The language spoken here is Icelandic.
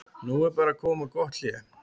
Nú er bara að koma gott hlé.